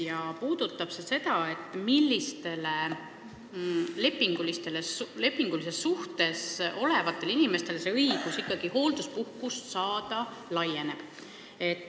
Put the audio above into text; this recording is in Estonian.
See puudutab seda, millises lepingulises suhtes olevatel inimestel ikkagi tekib see õigus hoolduspuhkust saada.